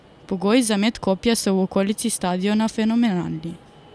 Pogoji za met kopja so v okolici stadiona fenomenalni.